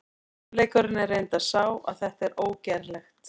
Sannleikurinn er reyndar sá að þetta er ógerlegt!